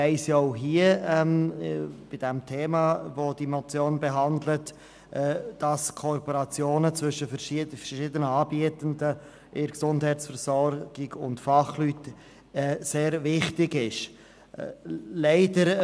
Man weiss auch in Bezug auf das Thema, welches diese Motion behandelt, dass die Kooperation zwischen den verschiedenen Anbietenden in der Gesundheitsversorgung und den Fachleuten sehr wichtig ist.